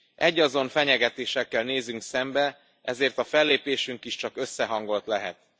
Egyazon fenyegetésekkel nézünk szembe, ezért a fellépésünk is csak összehangolt lehet.